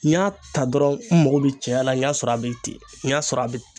N y'a ta dɔrɔn n mago be cɛya la n y'a sɔrɔ a be ten n y'a sɔrɔ a be ten